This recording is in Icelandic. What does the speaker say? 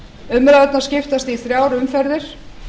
umræðurnar skiptast í þrjár umferðir